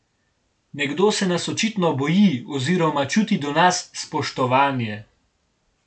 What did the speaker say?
Nekdo se nas očitno boji oziroma čuti do nas spoštovanje.